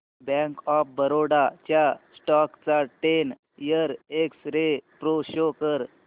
bank of Baroda च्या stock चा ten year x-ray pro show कर